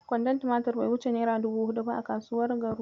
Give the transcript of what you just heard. Kwandon tumatir bai wuce naira dubu huɗu ba a kasuwar Garu.